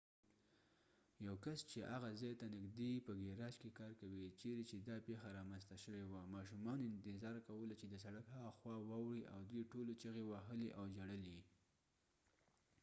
یو کس چې هغه ځای ت نژدې په ګیراج کې کار کوي چیرې چې دا پیښه رامنځته شوې وه ماشومانو انتظار کولو چې د سړک هاخوا واوړي او دوی ټولو چیغې وهلې او ژړل یې